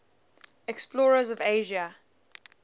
explorers of asia